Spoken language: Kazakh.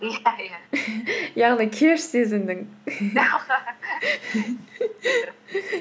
яғни кеш сезіндің